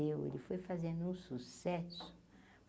Meu ele foi fazendo um sucesso.